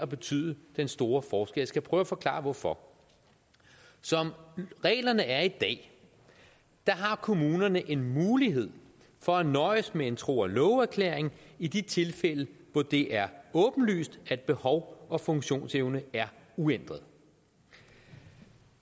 betyde den store forskel skal prøve at forklare hvorfor som reglerne er i dag har kommunerne en mulighed for at nøjes med en tro og love erklæring i de tilfælde hvor det er åbenlyst at behov og funktionsevne er uændret